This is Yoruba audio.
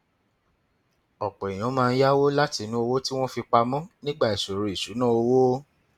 ọpọ èèyàn máa ń yáwó látinú owó tí wọn fi pa mọ nígbà ìṣòro ìṣúnná owó